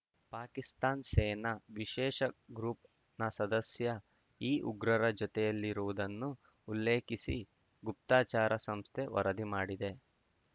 ಪಾಕಿಸ್ತಾನ್ ಸೇನಾ ವಿಶೇಷ ಗ್ರೂಪ್‌ನ ಸದಸ್ಯ ಈ ಉಗ್ರರ ಜೊತೆಯಲ್ಲಿರುವುದನ್ನು ಉಲ್ಲೇಖಿಸಿ ಗುಪ್ತಚಾರಾ ಸಂಸ್ಥೆ ವರದಿ ಮಾಡಿದೆ